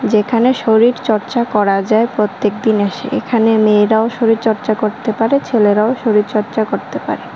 যেখানে শরীর চর্চা করা যায় প্রত্যেক দিন এসে এখানে মেয়েরাও শরীরচর্চা করতে পারে ছেলেরাও শরীরচর্চা করতে পারে।